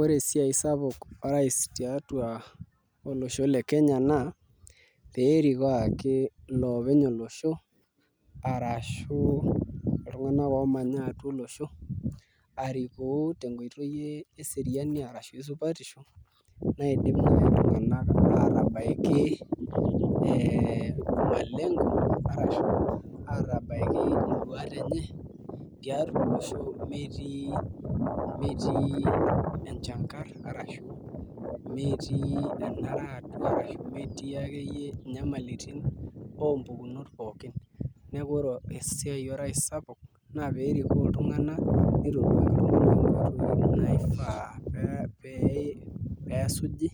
Ore esiai orais tolosho le Kenya naa pee erikoo ake iloopeny olosho arashu iltunganak oomanya atua olosho 😅 arikoo tenkoitoi eseriani ashu esupatisho naidim naai iltunganak aatabaiki malengo arashu induat enye tiatua olosho metii enchangarr arashu metii enara atua ashu metii akeyie inyamalitin ompukunot pookin neeku ore esiai orais sapuk naa pee erikoo iltunganak pee esuji